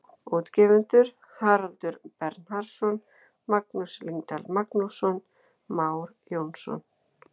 Útgefendur Haraldur Bernharðsson, Magnús Lyngdal Magnússon, Már Jónsson.